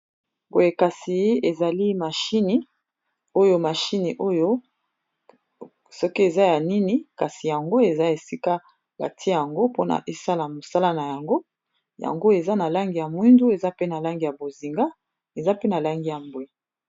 Boye kasi ezali mashini oyo mashini oyo soki eza ya nini kasi yango eza esika batie yango mpona esala mosala na yango, yango eza na langi ya mwindu eza pe na langi ya bozinga eza pe na langi ya mbwe.